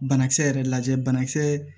Banakisɛ yɛrɛ lajɛ banakisɛ